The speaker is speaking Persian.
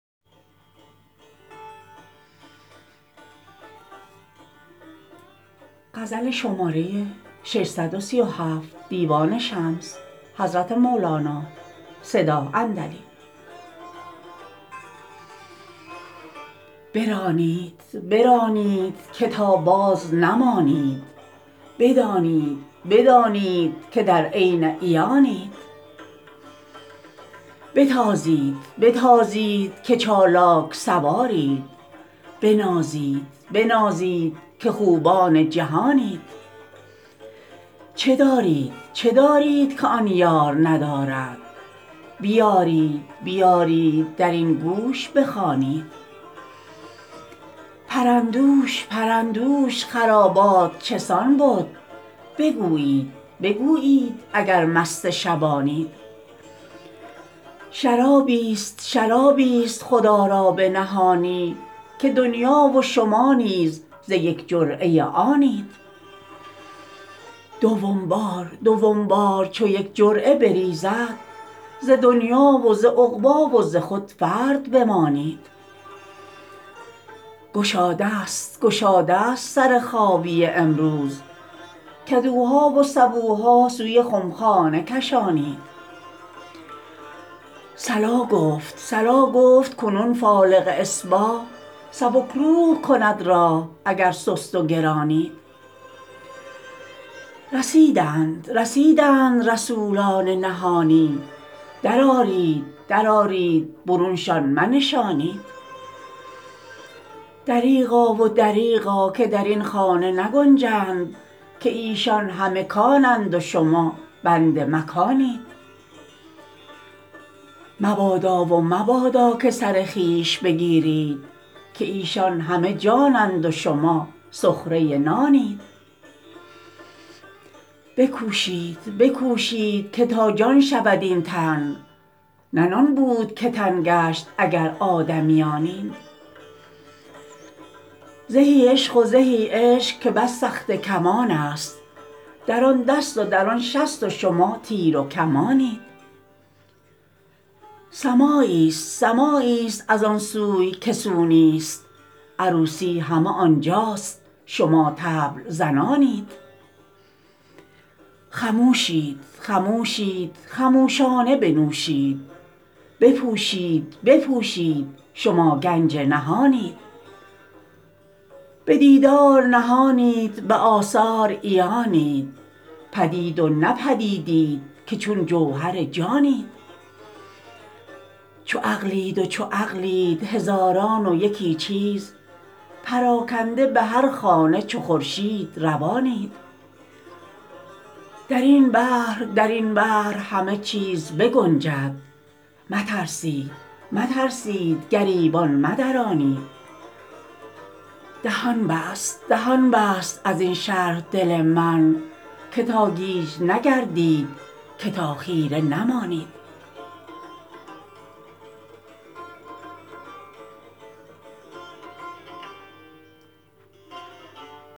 برانید برانید که تا بازنمانید بدانید بدانید که در عین عیانید بتازید بتازید که چالاک سوارید بنازید بنازید که خوبان جهانید چه دارید چه دارید که آن یار ندارد بیارید بیارید در این گوش بخوانید پرندوش پرندوش خرابات چه سان بد بگویید بگویید اگر مست شبانید شرابیست شرابیست خدا را پنهانی که دنیا و شما نیز ز یک جرعه آنید دوم بار دوم بار چو یک جرعه بریزد ز دنیا و ز عقبی و ز خود فرد بمانید گشادست گشادست سر خابیه امروز کدوها و سبوها سوی خمخانه کشانید صلا گفت صلا گفت کنون فالق اصباح سبک روح کند راح اگر سست و گرانید رسیدند رسیدند رسولان نهانی درآرید درآرید برونشان منشانید دریغا و دریغا که در این خانه نگنجند که ایشان همه کانند و شما بند مکانید مبادا و مبادا که سر خویش بگیرید که ایشان همه جانند و شما سخره نانید بکوشید بکوشید که تا جان شود این تن نه نان بود که تن گشت اگر آدمیانید زهی عشق و زهی عشق که بس سخته کمانست در آن دست و در آن شست و شما تیر مکانید سماعیست سماعیست از آن سوی که سو نیست عروسی همه آن جاست شما طبل زنانید خموشید خموشید خموشانه بنوشید بپوشید بپوشید شما گنج نهانید به دیدار نهانید به آثار عیانید پدید و نه پدیدیت که چون جوهر جانید چو عقلید و چو عقلید هزاران و یکی چیز پراکنده به هر خانه چو خورشید روانید در این بحر در این بحر همه چیز بگنجد مترسید مترسید گریبان مدرانید دهان بست دهان بست از این شرح دل من که تا گیج نگردید که تا خیره نمانید